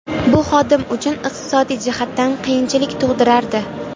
Bu xodim uchun iqtisodiy jihatdan qiyinchilik tug‘dirardi.